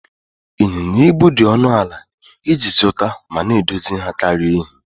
Ịnyịnya ibu dị ọnụ ala iji zụta ma na-edozi ha karịa èhi